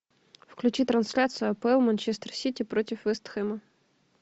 включи трансляцию апл манчестер сити против вест хэма